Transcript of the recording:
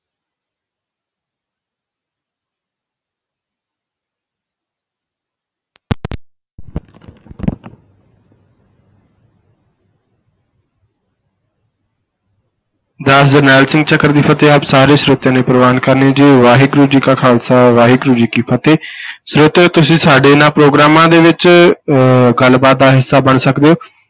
ਦਾਸ ਜਰਨੈਲ ਸਿੰਘ ਚਕਰ ਦੀ ਫ਼ਤਿਹ ਆਪ ਸਾਰੇ ਸਰੋਤਿਆਂ ਨੇ ਪ੍ਰਵਾਨ ਕਰਨੀ ਜੀ, ਵਾਹਿਗੁਰੂ ਜੀ ਕਾ ਖ਼ਾਲਸਾ ਵਾਹਿਗੁਰੂ ਜੀ ਕੀ ਫ਼ਤਿਹ ਸਰੋਤਿਓ ਤੁਸੀਂ ਸਾਡੇ ਇਹਨਾਂ ਪ੍ਰਗੋਰਾਮਾਂ ਦੇ ਵਿੱਚ ਅਹ ਗੱਲਬਾਤ ਦਾ ਹਿੱਸਾ ਬਣ ਸਕਦੇ ਹੋ,